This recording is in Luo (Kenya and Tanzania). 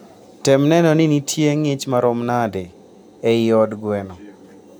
Tem neno ni nitie ng'ich maromo nade ei od gweno.